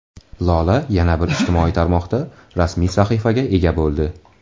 Lola yana bir ijtimoiy tarmoqda rasmiy sahifaga ega bo‘ldi.